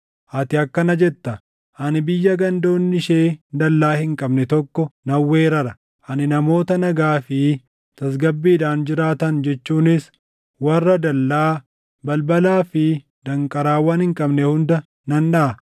Ati akkana jetta; “Ani biyya gandoonni ishee dallaa hin qabne tokko nan weerara; ani namoota nagaa fi tasgabbiidhaan jiraatan jechuunis warra dallaa, balbalaa fi danqaraawwan hin qabne hunda nan dhaʼa.